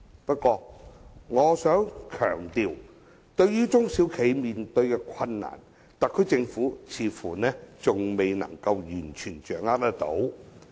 不過，我想強調，對於中小企面對的困難，特區政府似乎仍未能完全掌握。